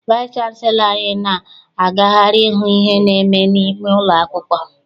Vaịsị chanselọ anyị na-agagharị ihu ihe na-eme n'ime ụlọ akwụkwọ.